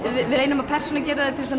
við reynum að persónugera þær til að